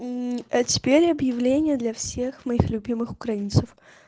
мм а теперь объявления для всех моих любимых украинцев